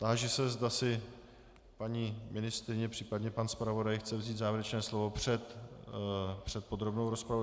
Táži se, zda si paní ministryně, případně pan zpravodaj chce vzít závěrečné slovo před podrobnou rozpravou.